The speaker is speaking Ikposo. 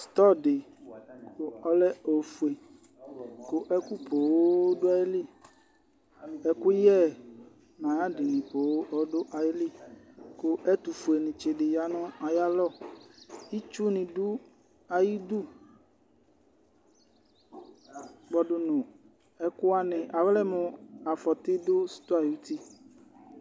Stɔ̃ di ɔlɛ ofue ku ɛku põn du ayili, ɛkuyɛ n' ayadini põn ɔdu ayili, ku ɛtufuele tsi di ya nu ayi alɔ, k'itsu ni dù ayi idú kpɔdu nu ɛkuwani alɛ mu afɔti du stɔ̃ɛ ayi utì